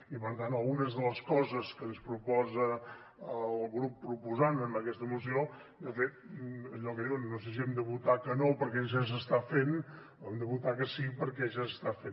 i per tant algunes de les coses que ens proposa el grup proposant amb aquesta moció de fet allò que diuen no sé si hem de votar que no perquè ja s’està fent o hem de votar que sí perquè ja s’està fent